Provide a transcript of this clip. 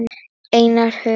Einar Hugi.